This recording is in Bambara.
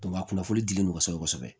a kunnafoni di mɔgɔsɛbɛ kosɛbɛ